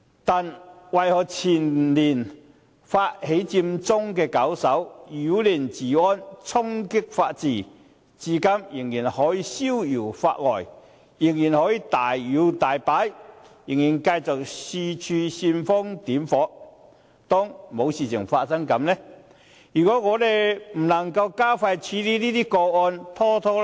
但為何前年發起佔中的搞手，不但擾亂治安，而且衝擊法治，至今卻仍然可以逍遙法外，仍然可以大搖大擺，仍然繼續四處煽風點火，當作事情沒有發生過呢？